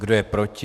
Kdo je proti?